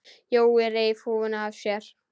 Jói reif húfuna af sér.